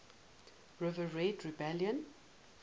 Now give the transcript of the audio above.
red river rebellion